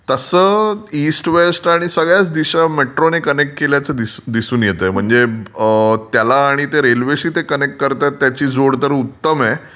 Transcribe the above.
तसं east west आणि सगळ्याच दिशा मेट्रोने कनेक्ट केल्याचं दिसून येतय. त्याला आणि ते रेल्वेशी कनेक्ट करतात त्याची जोड तर उत्तम आहे